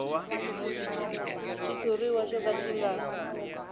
xitshuriwa xo ka xi nga